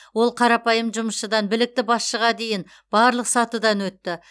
ол қарапайым жұмысшыдан білікті басшыға дейінгі барлық сатыдан өтті